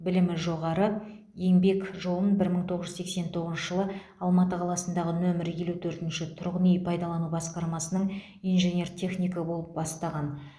білімі жоғары еңбек жолын бір мың тоғыз жүз сексен тоғызыншы жылы алматы қаласындағы нөмір елу төртінші тұрғын үй пайдалану басқармасының инженер технигі болып бастаған